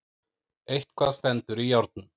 Eitthvað stendur í járnum